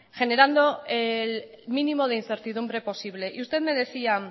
generando el mínimo de incertidumbre posible y usted me decía